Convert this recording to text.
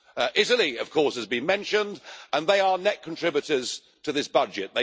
Italy, of course, has been mentioned, and they are net contributors to this budget